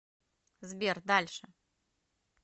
сбер дальше